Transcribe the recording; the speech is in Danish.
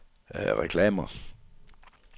reklamer